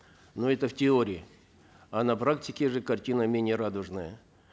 но это в теории а на практике же картина менее радужная